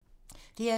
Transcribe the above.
DR2